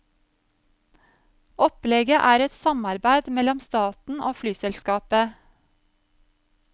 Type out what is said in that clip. Opplegget er et samarbeid mellom staten og flyselskapet.